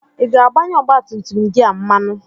Ị ga-agbanye ọgbatumtum gị a mmanụ?